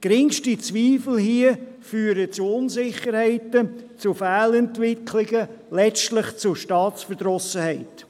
Geringste Zweifel führen zu Unsicherheiten, zu Fehlentwicklungen, letztlich zu Staatsverdrossenheit.